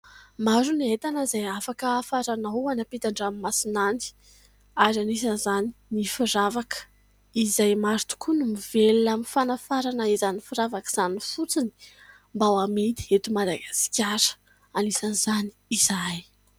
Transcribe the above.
Maro ny entana izay afaka hafaranao any ampitan-dranomasina any. Ary anisan'izany ny firavaka, izay maro tokoa no mivelona amin'ny fanafarana izany firavaka izany fotsiny, mba hamidy eto Madagasikara, anisan'izany izahay.